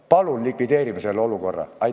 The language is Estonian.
Palun likvideerime selle olukorra!